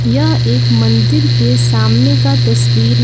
यह एक मंदिर के सामने का तस्वीर ह--